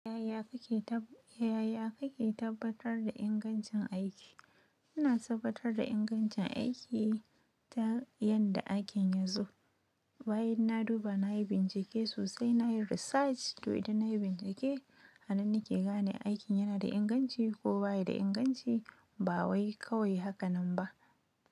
Yaya kake ta, yaya kake tabbatar da ingancin aiki? Ina tabbatar da ingancin aiki ta yadda aikin ya zo. Bayan na duba, na yi bincike sosai, na yi research. To idan na yi bincike, anan ni ke gane aikin yana da inganci ko ba yi da inganci. Bawai kawai haka nan ba.